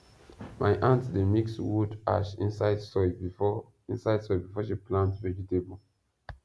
my aunty dey mix wood ash inside soil before inside soil before she plant vegetable